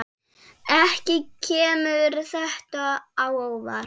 Ekki kemur þetta á óvart.